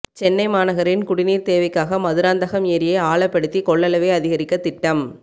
சென்னை மாநகரின் குடிநீர் தேவைக்காக மதுராந்தகம் ஏரியை ஆழப்படுத்தி கொள்ளளவை அதிகரிக்க திட்டம்